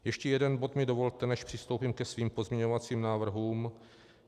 Ještě jeden bod mi dovolte, než přistoupím ke svým pozměňovacím návrhům.